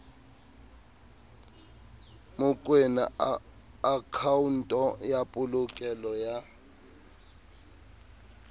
mokoena akhaonto ya polokelo ya